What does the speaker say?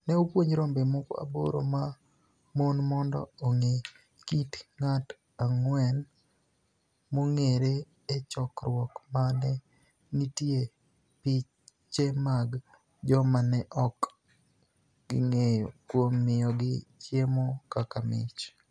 ni e opuonij rombe moko aboro ma moni monido onig'e kit nig'at anig'weni monig'ere e chokruok ma ni e niitie piche mag joma ni e ok ginig'eyo, kuom miyogi chiemo kaka mich.